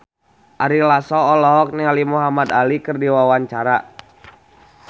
Ari Lasso olohok ningali Muhamad Ali keur diwawancara